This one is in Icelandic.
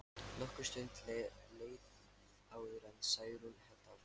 Nokkur stund leið áður en Særún hélt áfram.